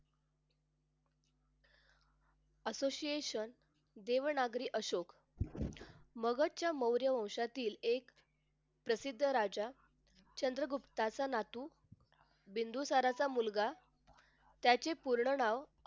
association Devanagari Ashok मगधच्या मौर्य वंशातील एक प्रसिद्ध राजा चंद्रगुप्ताचा नातू बिन्दुसाराचा मुलगा त्याचे पूर्ण नाव